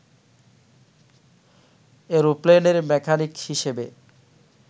অ্যারোপ্লেনের mechanic হিসেবে